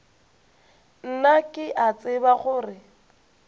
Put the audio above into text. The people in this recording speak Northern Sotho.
nna ke a tseba gore